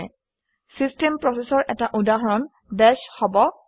system প্ৰচেচৰ এটা উদাহৰণ বাশ হব পাৰে